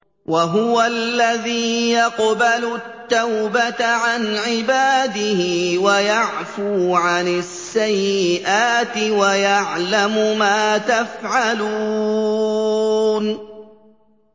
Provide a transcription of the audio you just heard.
وَهُوَ الَّذِي يَقْبَلُ التَّوْبَةَ عَنْ عِبَادِهِ وَيَعْفُو عَنِ السَّيِّئَاتِ وَيَعْلَمُ مَا تَفْعَلُونَ